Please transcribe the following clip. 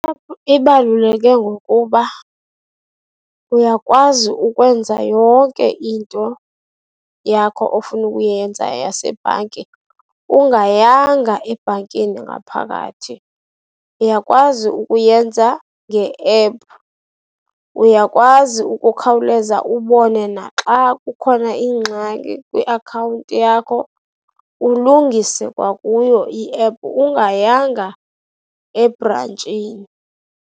ibaluleka ngokuba uyakwazi ukwenza yonke into yakho ofuna ukuyenza yasebhanki ungayanga ebhankini ngaphakathi. Uyakwazi ukuyenza nge-app. Uyakwazi ukukhawuleza ubone naxa kukhona ingxaki kwiakhawunti yakho, ulungise kwakuyo i-app ungayanga ebrantshini.